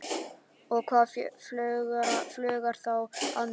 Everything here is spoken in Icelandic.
Og hvað flögrar þá að mér?